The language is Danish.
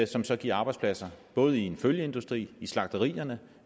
som så giver arbejdspladser både i følgeindustrien i slagterierne